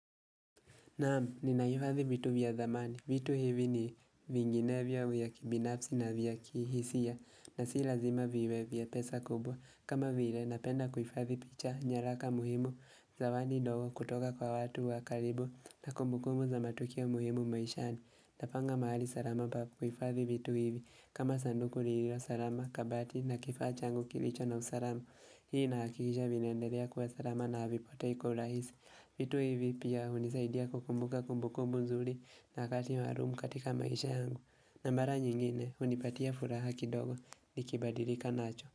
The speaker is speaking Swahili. Naam, ninaifavi vitu vya zamani. Vitu hivi ni vinginevyo ya kibinafsi na vya kihisia na si lazima viwe vya pesa kubwa. Kama vile napenda kufadhi picha, nyaraka muhimu, zawani ndogo kutoka kwa watu wa karibu na kumbukumbu za matukio muhimu maishani. Napanga mahali sarama pa kufadhi vitu hivi. Kama sanduku lililo sarama, kabati na kifaa changu kilicho na usarama. Hii naakisha vinaenderea kuwa sarama na avipotei kwa urahisi vitu hivi pia hunisaidia kukumbuka kumbukumbu nzuli na wakati maarumu katika maisha yangu na mara nyingine hunipatia furaha kidogo nikibadirika nacho.